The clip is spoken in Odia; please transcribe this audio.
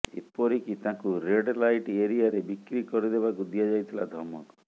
ଏପରିକି ତାଙ୍କୁ ରେଡ୍ ଲାଇଟ୍ ଏରିଆରେ ବିକ୍ରି କରିଦେବାକୁ ଦିଆଯାଇଥିଲା ଧମକ